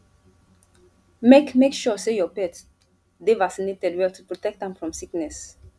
make make sure say your pet dey vaccinated well to protect am from sickness